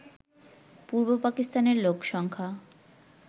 পূর্ব পাকিস্তানের লোকসংখ্যা